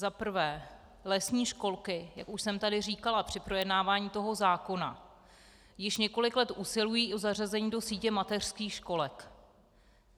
Za prvé, lesní školky, jak už jsem tady říkala při projednávání tohoto zákona, již několik let usilují o zařazení do sítě mateřských školek.